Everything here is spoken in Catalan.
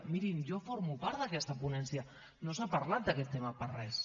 mirin jo formo part d’aquesta ponència no s’ha parlat d’aquest tema per a res